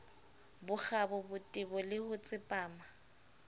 bokgabo botebo le ho tsepama